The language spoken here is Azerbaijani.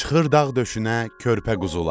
Çıxır dağ döşünə körpə quzular.